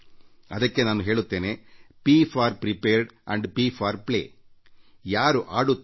ಅದಕ್ಕೆ ನಾನು ಹೇಳುತ್ತೇನೆ ಪ್ ಫೋರ್ ಪ್ರಿಪೇರ್ಡ್ ಆಂಡ್ ಪ್ ಫೋರ್ ಪ್ಲೇ ಅಂದರೆ ತಯಾರಾಗಿರಿ ಮತ್ತು ಆಟವಾಡುತ್ತಿರಿ